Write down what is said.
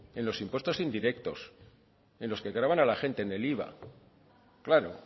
en los impuestos indirectos en los que gravan a la gente en el iva